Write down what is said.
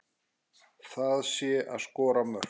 Það sé að skora mörk.